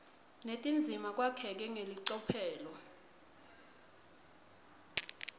netindzima kwakheke ngelicophelo